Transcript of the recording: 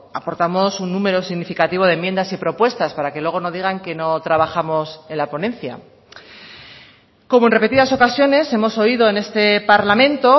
aportamos un número significativo de enmiendas y propuestas para que luego no digan que no trabajamos en la ponencia como en repetidas ocasiones hemos oído en este parlamento